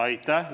Aitäh!